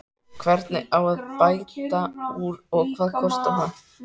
Hvernig á að bæta úr og hvað kostar það?